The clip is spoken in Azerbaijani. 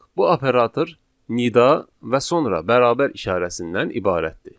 Bu operator nida və sonra bərabər işarəsindən ibarətdir.